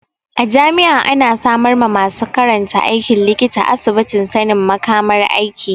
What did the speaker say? A jami'a ana samar ma masu karantan aikin likita asibitin sanin makamar aiki.